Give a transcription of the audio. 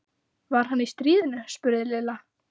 Var hann í stríðinu? spurði Lilla.